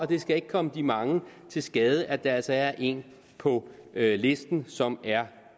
det skal ikke komme de mange til skade at der altså er en på listen som er